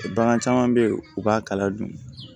Bagan caman bɛ yen u b'a kala dun